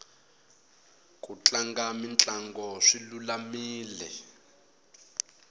ku tlanga mitlango swi lulamile